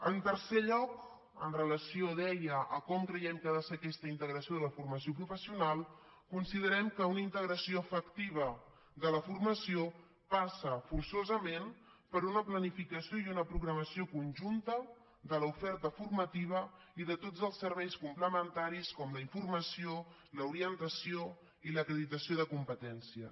en tercer lloc en relació deia amb com creiem que ha de ser aquesta integració de la formació professional considerem que una integració efectiva de la formació passa forçosament per una planificació i una programació conjuntes de l’oferta formativa i de tots els serveis complementaris com la informació l’orientació i l’acreditació de competències